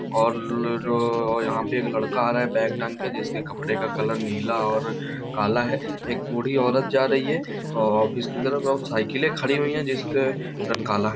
और-लो-जो-यहाँ पे लड़का आ रहा है बैग टाँग के जिसके कपड़े का कलर नीला और काला है एक बूढ़ी औरत जा रही है औ-ऑफिस की तरफ और साइकिलें खड़ी हुईं हैं जिसका रंग काला है।